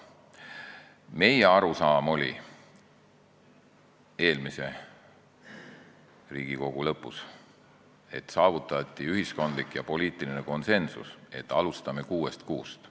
Meie arusaam oli eelmise Riigikogu tegevusaja lõpus, et saavutati ühiskondlik ja poliitiline konsensus, et me alustame kuuest kuust.